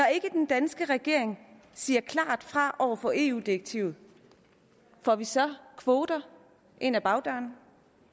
den danske regering siger klart fra over for eu direktivet får vi så kvoter ind ad bagdøren